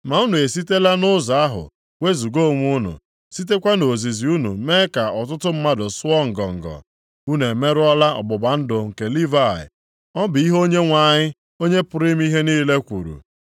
Ma unu esitela nʼụzọ ahụ wezuga onwe unu, sitekwa nʼozizi unu mee ka ọtụtụ mmadụ sụọ ngọngọ. Unu emerụọla ọgbụgba ndụ nke Livayị.” Ọ bụ ihe Onyenwe anyị, Onye pụrụ ime ihe niile kwuru.